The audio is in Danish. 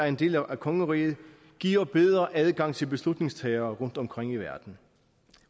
en del af kongeriget giver bedre adgang til beslutningstagere rundtomkring i verden